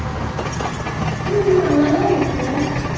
ஹம் நல்லாதான் இருக்கும்.